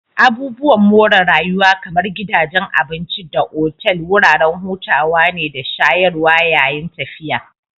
Abubuwan more rayuwa kamar gidajen abinci da otal wuraren hutawa ne da shayarwa yayin tafiya